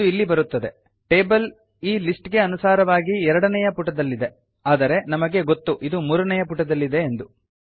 ಇದು ಇಲ್ಲಿ ಬರುತ್ತದೆ ಟೇಬಲ್ ಈ ಲಿಸ್ಟ್ ಗೆ ಅನುಸಾರವಾಗಿ ಎರಡನೆಯ ಪುಟದಲ್ಲಿದೆ ಆದರೆ ನಮಗೆ ಗೊತ್ತು ಇದು ಮೂರನೆಯ ಪುಟದಲ್ಲಿದೆ ಎಂದು